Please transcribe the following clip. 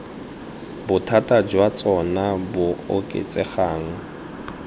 bothata jwa tsona bo oketsegang